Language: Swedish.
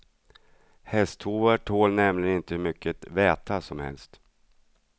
Hästhovar tål nämligen inte hur mycket väta som helst.